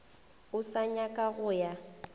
o sa nyaka go ya